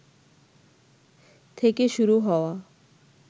থেকে শুরু হওয়া